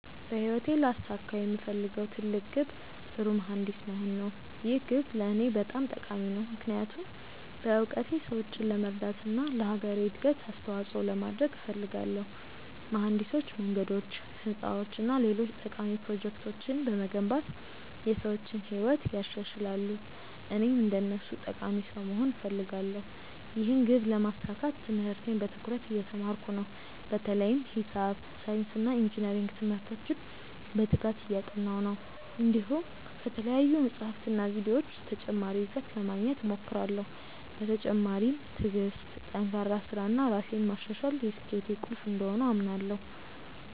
በህይወቴ ላሳካው የምፈልገው ትልቅ ግብ ጥሩ መሀንዲስ መሆን ነው። ይህ ግብ ለእኔ በጣም ጠቃሚ ነው፣ ምክንያቱም በእውቀቴ ሰዎችን ለመርዳት እና ለአገሬ እድገት አስተዋፅኦ ለማድረግ እፈልጋለሁ። መሀንዲሶች መንገዶች፣ ህንፃዎች እና ሌሎች ጠቃሚ ፕሮጀክቶችን በመገንባት የሰዎችን ህይወት ያሻሽላሉ፣ እኔም እንደነሱ ጠቃሚ ሰው መሆን እፈልጋለሁ። ይህን ግብ ለማሳካት ትምህርቴን በትኩረት እየተማርኩ ነው፣ በተለይም ሂሳብ፣ ሳይንስ እና ኢንጅነሪንግ ትምህርቶችን በትጋት እያጠናሁ ነው። እንዲሁም ከተለያዩ መጻሕፍትና ቪዲዮዎች ተጨማሪ እውቀት ለማግኘት እሞክራለሁ። በተጨማሪም ትዕግሥት፣ ጠንካራ ሥራ እና ራሴን ማሻሻል የስኬቴ ቁልፍ እንደሆኑ አምናለሁ።